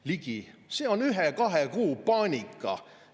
" Ligi: "See on ühe-kahe-kolme kuu paanika.